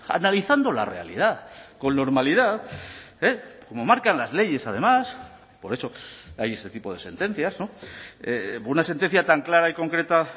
analizando la realidad con normalidad como marcan las leyes además por eso hay este tipo de sentencias una sentencia tan clara y concreta